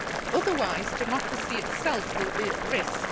Otherwise, democracy itself will be at risk.